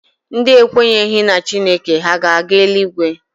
Ndị ekwenyeghị na Chineke ha ga-aga eluigwe?